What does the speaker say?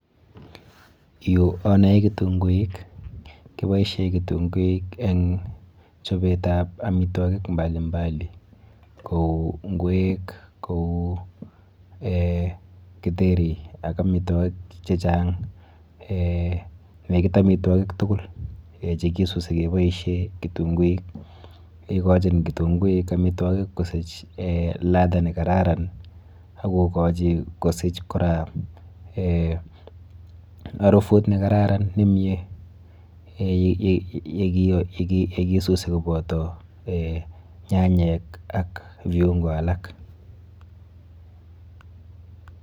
Yu anoe kitunguik. Keboishe kitunguik eng chopetap amitwokik mbalimnali kou ng'wek, kou eh githeri ak amitwokik chechang. Eh nekit amitwokik tukul chekisusi keboishe kitunguik. Ikochin kitunguik amitwakik kosich eh ladha nekararan akokochi kosich kora eh harufut nekararan nemie yekisusi koboto nyanyek ak viungo alak.